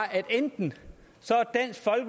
at enten